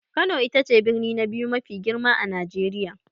Kano ita ce birni na biyu mafi girma a Najeriya.